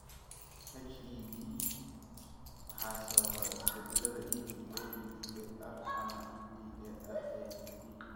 HED waxaa sababa isbedelada EDA, EDAR, ama EDARADD.